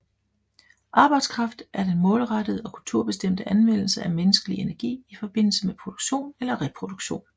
Arbejdskraft er den målrettede og kulturbestemte anvendelse af menneskelig energi i forbindelse med produktion eller reproduktion